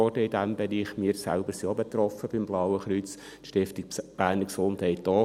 wir selber vom Blauen Kreuz sind auch betroffen, die Stiftung Berner Gesundheit ebenfalls.